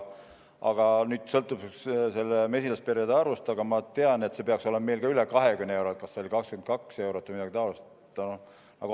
Aga nüüd sõltuvalt mesilasperede arvust peaks see meil olema üle 20 euro – kas see oli 22 eurot või midagi taolist.